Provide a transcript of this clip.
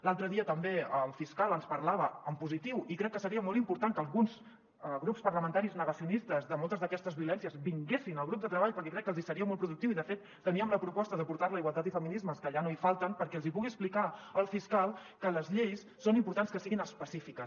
l’altre dia també el fiscal ens parlava en positiu i crec que seria molt important que alguns grups parlamentaris negacionistes de moltes d’aquestes violències vinguessin al grup de treball perquè crec que els seria molt productiu i de fet teníem la proposta de portar la a igualtat i feminismes que allà no hi falten perquè els hi pugui explicar el fiscal que les lleis és important que siguin específiques